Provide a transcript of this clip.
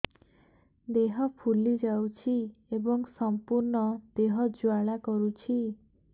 ଦେହ ଫୁଲି ଯାଉଛି ଏବଂ ସମ୍ପୂର୍ଣ୍ଣ ଦେହ ଜ୍ୱାଳା କରୁଛି